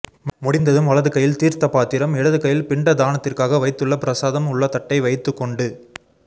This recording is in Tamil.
முடிந்ததும் வலது கையில் தீர்த்த பாத்திரம் இடது கையில் பிண்ட தானத்திற்காக வைத்துள்ள ப்ரசாதம் உள்ள தட்டை வைத்துக்கொண்டு